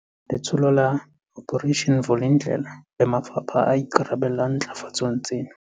Letsholo la Operation Vulindlela le mafapha a ikarabellang ntlafatsong tsena.